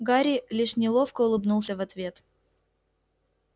гарри лишь неловко улыбнулся в ответ